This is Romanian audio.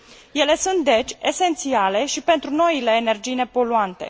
Ele sunt, deci, esențiale și pentru noile energii nepoluante.